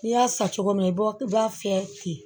N'i y'a san cogo min na i b'o b'a fiyɛ ten